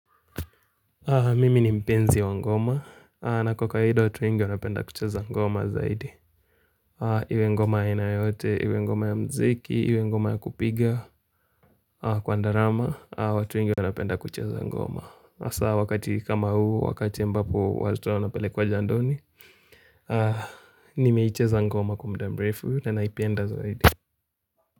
Mimi ni mpenzi wa ngoma na kwa kawaida watu wengi wanapenda kucheza ngoma zaidi Iwe ngoma ya aina yote, iwe ngoma ya muziki, iwe ngoma ya kupiga Kwa ndarama, watu wengi wanapenda kucheza ngoma hasa wakati kama huu, wakati ambapo watoto wanapelekwa jandoni Nimeicheza ngoma kwa muda mrefu na naipenda zaidi.